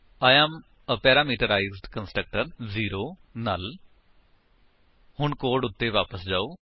I am a parameterised constructor null ਹੁਣ code ਉੱਤੇ ਵਾਪਸ ਆਓ